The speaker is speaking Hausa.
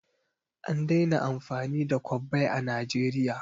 An daina amfani da kwabbai a Najeriya.